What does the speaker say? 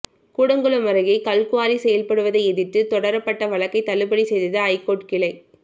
கூடங்குளம் அருகே கல்குவாரி செயல்படுவதை எதிர்த்து தொடரப்பட்ட வழக்கை தள்ளுபடி செய்தது ஐகோர்ட் கிளை